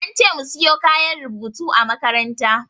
An ce mu siyo kayan rubutu a makaranta.